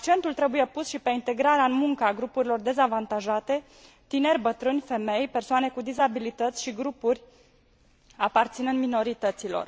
Accentul trebuie pus și pe integrarea în muncă a grupurilor dezavantajate tineri, bătrâni, femei, persoane cu dizabilități și grupuri aparținând minorităților.